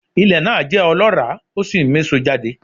Ilẹ̀ náà jẹ́ ọlọ́ràá ó sì ń méso jáde